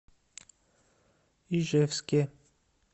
ижевске